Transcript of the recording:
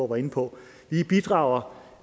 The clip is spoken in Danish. var inde på vi bidrager